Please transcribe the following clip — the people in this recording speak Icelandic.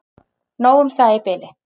Nóg um það í bili.